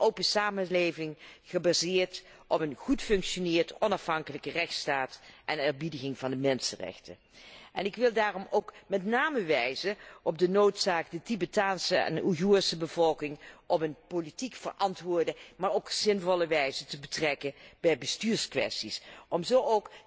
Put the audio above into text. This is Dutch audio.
Een open samenleving, gebaseerd op een goed functionerende, onafhankelijke rechtsstaat en eerbiediging van de mensenrechten. En ik wil daarom met name wijzen op de noodzaak de Tibetaanse en de Oeigoerse bevolking op een politiek verantwoorde, maar ook zinvolle wijze te betrekken bij bestuurskwesties, om zo